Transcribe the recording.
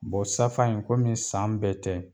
Bɔ safa in kɔmi san bɛɛ tɛ.